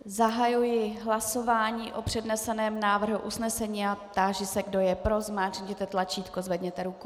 Zahajuji hlasování o předneseném návrhu usnesení a táži se kdo je pro, zmáčkněte tlačítko, zvedněte ruku.